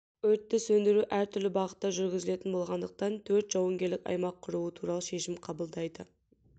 өртті сөндіру әртүрлі бағытта жүргізілетін болғандықтан төрт жауынгерлік аймақ құруы туралы шешім қабылдайды